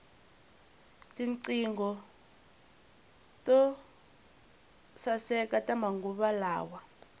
tinqingho to saeka ta manguva lawa